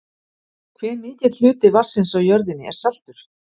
hve mikill hluti vatnsins á jörðinni er saltur